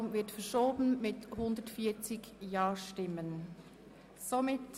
Damit wird die Behandlung von Traktandum 78 verschoben.